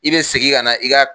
I be segin ka na i ka